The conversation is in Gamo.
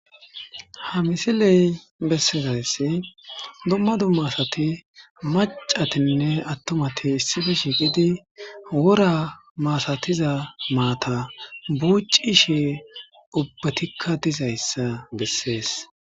ha misiley bessezayssi dumma dummasati macatinne attomati issife shiiqidi wora maasatiza maata buucishe ubbatikka dizayssa bessees